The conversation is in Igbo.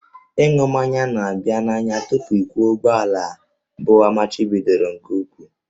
Ịṅụ mmanya na-aba n'anya tupu ịkwọ ụgbọala bụ amachibidoro nke ukwuu